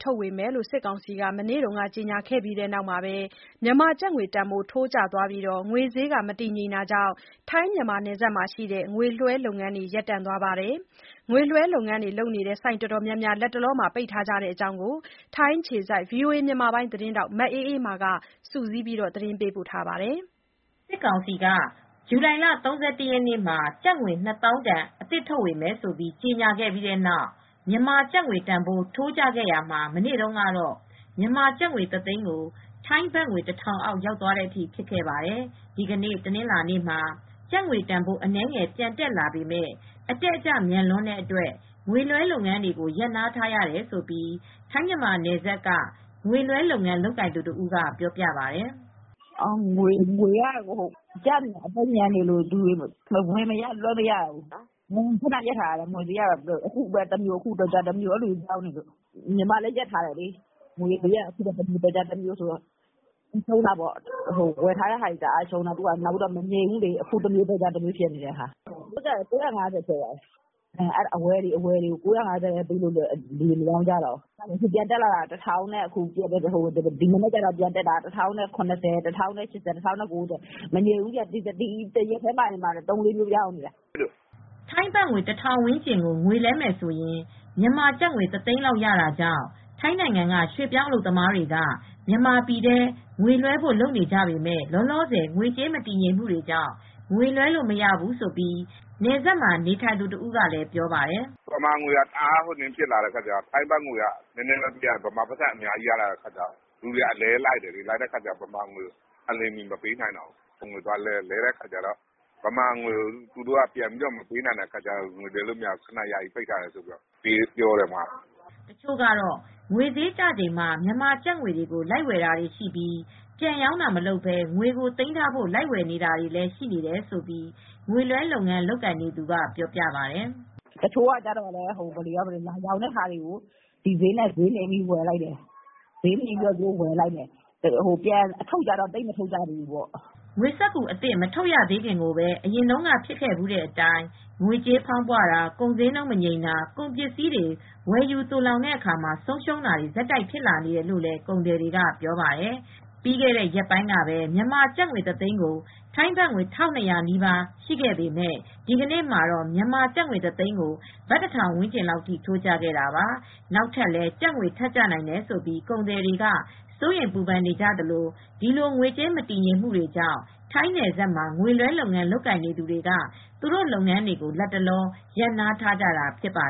ထုတ်ဝေမယ်လို့ စစ်ကောင်စီက မနေ့က ကြေညာခဲ့ပြီးတဲ့နောက် မြန်မာကျပ်ငွေတန်ဖိုး ထိုးကျသွားပြီး ငွေဈေး မတည်ငြိမ် တော့တာကြောင့် ထိုင်း−မြန်မာနယ်စပ်က ငွေလွှဲလုပ်ငန်းတွေလည်း ရပ်တန့်သွားပါတယ်။ ငွေလွှဲလုပ်ငန်း လုပ်နေတဲ့ ဆိုင်အတော်များများ လတ်တလော ပိတ်ထားကြတဲ့အကြောင်း ထိုင်းအခြေစိုက် ဗွီအိုအေ သတင်းထောက် မအေးအေးမာက သတင်းပေးပို့ ထားပါတယ်။ စစ်ကောင်စီက ဇူလိုင်လ ၃၁ ရက်မှာ ကျပ်ငွေ နှစ်သောင်းတန် အသစ်ထုတ်ဝေမယ်ဆိုပြီး ကြေညာခဲ့ပြီးတဲ့နောက် မြန်မာကျပ်ငွေ တန်ဖိုး ထိုးကျခဲ့ရတာမှာ မနေ့တုန်းကတော့ မြန်မာကျပ်ငွေ ၁ သိန်းကို ထိုင်းဘတ်ငွေ ၁ ထောင်အောက် ရောက်သွားတဲ့အထိ ဖြစ်ခဲ့ပါတယ်။ ဒီကနေ့ တနင်္လာနေ့မှာ ကျပ်ငွေတန်ဖိုး အနည်းငယ်ပြန် တက်လာပေမဲ့ အတက်အကျ မြန်လွန်းတဲ့အတွက် ငွေလွှဲ လုပ်ငန်းတွေကို ရပ်နားထားရတယ်လို့ ထိုင်းမြန်မာနယ်စပ်က ငွေလွှဲလုပ်ငန်း လုပ်ကိုင်သူတဦးက ပြောပြပါတယ်။ "ငွေက အကျမြန်နေလို့ ဝယ်မရ လွှဲမရ ဖြစ်ပြီး ငွေလွှဲတာတွေ ရပ်ထားရတယ်။ ငွေဈေးက အခုတမျိုး တော်ကြာတမျိုး ပြောင်းနေလို့ ညီမလည်း ရပ်ထားရတယ်။ ငွေက အခုတမျိုးတော်ကြာတမျိုးဆိုတော့ ဝယ်ထားတာတွေလည်း တအားရှုံးတယ်။ ငွေဈေးက မငြိမ်ဘူးလေ။ အခုတမျိုး တော်ကြားတမျိုး ငွေဈေးက ၉၅၀ ထိ ဖြစ်သွားတယ်ဆိုတော့ အဝယ်တွေကို ၉၅၀ ပဲ ပေးတော့ လူတွေက မရောင်းကြတော့ ဒီမနက်က ပြန်တက်တာက တသိန်းကို ၁၀၇၀၊ ၁၀၈၀၊ ၁၀၉၀ ဖြစ်တယ် တနေ့တည်း သုံးကြိမ်လောက်ဖြစ်နေတယ်။" ထိုင်းဘတ်ငွေ ၁ ထောင်ဝန်းကျင်ကို ငွေလဲမယ်ဆိုရင် မြန်မာကျပ်ငွေ ၁ သိန်းလောက် ရတာကြောင့် ထိုင်းနိုင်ငံက ရွှေပြောင်း အလုပ်သမားတွေ က မြန်မာပြည်ထဲ ငွေလွှဲဖို့လုပ်ကြပေမဲ့၊ လောလောဆယ် ငွေကြေး မတည်ငြိမ်မှုကြောင့် ငွေလွှဲလို့ မရဘူးလို့ နယ်စပ်မှာ နေထိုင်နေသူ တဦးကလည်း ပြောပါတယ်။ “မြန်မာငွေက တအားကျတော့ ထိုင်းဘတ်ငွေပေးရင် ထိုင်းဘတ်ငွေ နည်းနည်းပဲပေးရင် မြန်မာက အများကြီးရတယ်ဆိုတော့ ငွေက အလဲ လိုက်နေတယ် အလျင်မီ မပေးနိုင်တော့ဘူး။ ဒီတော့ ငွေလဲတော့ သူတို့က မြန်မာငွေ မပေးနိုင်ကြတော့ဘူး။ အဲဒီတော့ မလဲပေးတော့ဘူး ပြောတယ်။” တချို့ကတော့ ငွေဈေးကျချိန်မှာ မြန်မာကျပ်ငွေတွေကို လိုက်ဝယ်တာတွေ ရှိပြီး ပြန်ရောင်းတာမလုပ်ဘဲ ငွေကို သိမ်းထားဖို့ လိုက်ဝယ်တာတွေလည်း ရှိတယ်လို့ ငွေလွှဲလုပ်ငန်း လုပ်နေသူက ပြောပါတယ်။ "တချို့က မြန်မာငွေက ကျတော့ ဒီဈေးနဲ့ လိုက်ဝယ်တယ်။ ပြန်ထုတ်တာ ကျတော့ သိပ်မလုပ်တော့ဘူး။" ငွေစက္ကူအသစ် မထုတ်ရသေးခင်မှာကိုပဲ အရင်တုန်းက ဖြစ်ခဲ့ဖူးတဲ့အတိုင်း ငွေကြေးဖောင်းပွတာ၊ ကုန်ဈေးနှုန်း မငြိမ်တာ၊ ကုန်ပစ္စည်းတွေ ဝယ်ယူ သိုလှောင်တဲ့အခါ ဆုံးရှုံးတာတွေ ဆက်တိုက် ဖြစ်လာနေတယ်လို့လည်း ကုန်သည်တွေက ပြောပါတယ်။ ပြီးခဲတဲ့ ရက်ပိုင်းကပဲ မြန်မာကျပ်ငွေ တသိန်းကို ထိုင်းဘတ်ငွေ ၁၂၀၀ နီးပါး ရှိခဲ့ပေမဲ့ ဒီကနေ့မှာတော့ မြန်မာကျပ်ငွေ တသိန်းကို ဘတ် ၁ ထောင်ဝန်းကျင်အထိ ထိုးကျခဲ့တာပါ။ နောက်ထပ်လည်း ကျပ်ငွေ ထပ်ကျနိုင်တယ်ဆိုပြီး ကုန်သည်တွေက စိုးရိမ်ပူပန်နေကြသလို၊ ဒီလို ငွေကြေးမတည်ငြိမ်မှုကြောင့် ထိုင်းနယ်စပ်မှာ ငွေလွှဲလုပ်ငန်း လုပ်ကိုင်နေသူတွေက သူတို့လုပ်ငန်းတွေကို လတ်တလော ရပ်နားထားကြတာ ဖြစ်ပါ